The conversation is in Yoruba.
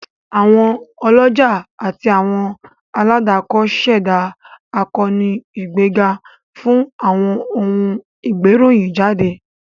Àwọn ọlọ́jà àti àwọn aládàkọ ṣẹdá àkóónú ìgbéga fún àwọn ohun ìgbéròyìn jáde